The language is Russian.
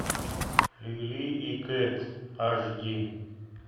лили и кэт аш ди